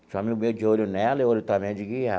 Tinha um amigo meu de olho nela e olho também de.